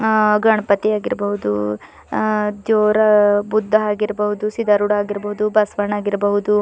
ಆ ಗಣಪತಿ ಆಗಿರಬಹುದು ಆ ತ್ಯೋರಾ ಬುದ್ಧಾ ಆಗಿರಬಹುದು ಸಿದ್ದರೂಡ ಆಗಿರಬಹುದು ಬಸವಣ್ಣ ಆಗಿರಬಹುದು--